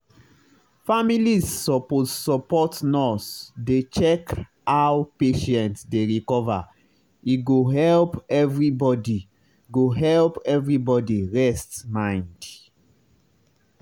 families suppose support nurse dey check how patient dey recover e go help everybody go help everybody rest mind.